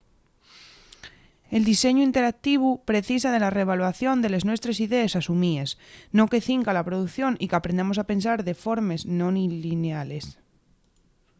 el diseñu interactivu precisa de la re-evaluación de les nuestres idees asumíes no que cinca a la producción y qu’aprendamos a pensar de formes non lliniales